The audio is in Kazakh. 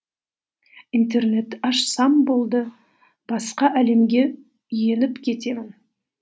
интернетті ашсам болды басқа әлемге еніп кетемін